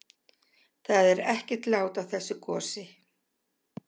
Það er ekkert lát á þessu gosi?